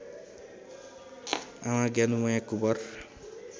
आमा ज्ञानुमैया कुँवर